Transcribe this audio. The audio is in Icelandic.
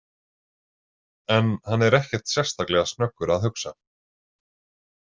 En hann er ekkert sérstaklega snöggur að hugsa.